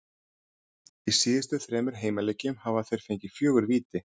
Í síðustu þremur heimaleikjum hafa þeir fengið fjögur víti.